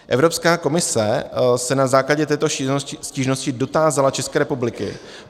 Evropská komise se na základě této stížnosti dotázala České republiky.